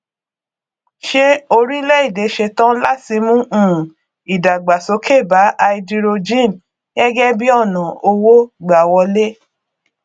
ṣé orílẹ èdè ṣetán láti mú um ìdàgbàsókè bá háídírójìn gẹgẹ bí ọnà owó gbà wọlé